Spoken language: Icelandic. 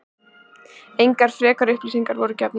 Engar frekari upplýsingar voru gefnar